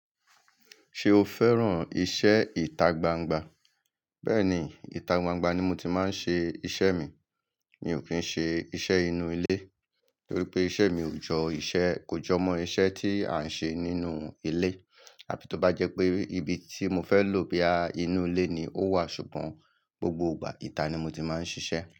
Ṣé o fẹ́ràn iṣẹ́ ìta gbangba? Bẹ́ẹ̀ni, ìta gbangba ni mo ti máa ń ṣe iṣẹ́ mi. Mi ò kí ń ṣe iṣẹ́ inú ilé torí pé iṣẹ́ mi kò jọmọ́ iṣẹ́ tí a ń ṣe nínú ilé. Àbí tó bá jẹ́ pé ibi tí mo fẹ́ lò bóyá inú ilé ni ó wà ṣùgbọ́n gbogbo ìgbà ìta ni mo ti máa ń ṣiṣẹ́.